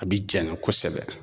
A bi janya kosɛbɛ